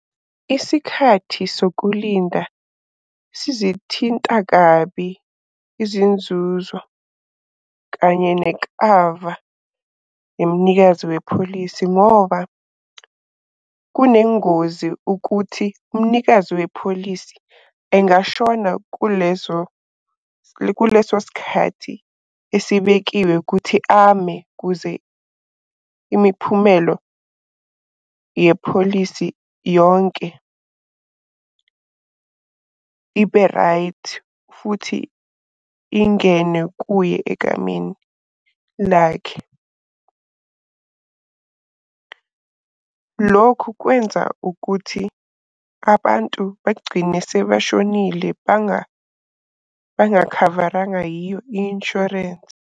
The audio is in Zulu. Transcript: Isikhathi sokulinda sizithinta kabi izinzuzo kanye nekava yomnikazi wepholisi ngoba, kunengozi ukuthi umnikazi wepholisi engashona kulezo kuleso sikhathi esibekiwe ukuthi ame kuze imiphumelo yepholisi yonke ibe right, futhi ingene kuye egameni lakhe. Lokhu kwenza ukuthi abantu begcine sebeshonile bangakhavarangwa yiyo i-inshwarensi.